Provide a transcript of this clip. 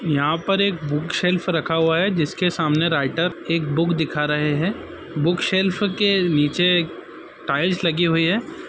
यहां पर एक बुक सेल्फ रखा हुआ है जिसके सामने राइटर एक बूक दिखा रहे है बुक शेल्फ के निचे टाइल्स लगे हुए हैं ।